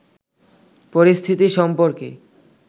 পরিস্থিতি সম্পর্কে